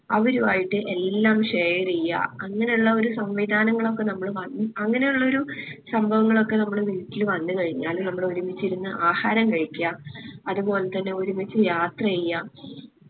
അവര് ആയിട്ട് എല്ലാം share എയ്യാ അങ്ങനെ ഉള്ളൊരു സംവിധാനങ്ങളൊക്കെ നമ്മള് അങ്ങനുള്ളൊരു സംഭവങ്ങളൊക്കെ നമ്മളെ വീട്ടില് വന്ന് കഴിഞ്ഞാൽ നമ്മൾ ഒരുമിച്ചിരുന്ന് ആഹാരം കഴിക്കാ അതുപോലെതന്നെ ഒരുമിച്ച് യാത്ര എയ്യാ